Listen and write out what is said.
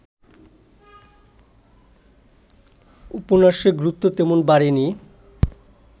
উপন্যাসের গুরুত্ব তেমন বাড়েনি